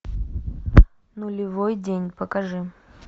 нулевой день покажи